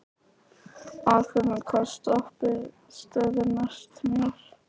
Athena, hvaða stoppistöð er næst mér?